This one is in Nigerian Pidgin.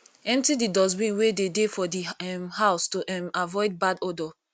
empty di dustbin wey de dey for di um house to um avoid bad odor